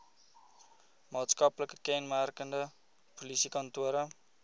maatskaplike kenmerke polisiekantore